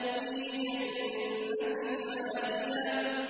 فِي جَنَّةٍ عَالِيَةٍ